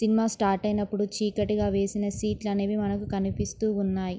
Cinema start ఐనప్పుడు చీకాటిగా వేసిన సీట్లు అనేవి మనకూ కనిపిస్తున్నాయి.